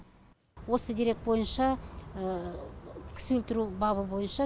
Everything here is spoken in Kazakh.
осы дерек бойынша кісі өлтіру бабы бойынша